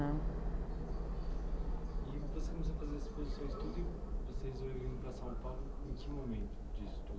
né. E você começou a fazer as exposições tudo e você resolveu ir para São Paulo em que momento disso tudo?